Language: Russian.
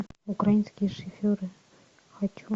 украинские шоферы хочу